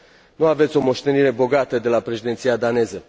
Nu aveți o moștenire bogată de la președinția daneză.